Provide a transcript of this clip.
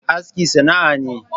Aski sana'a ne.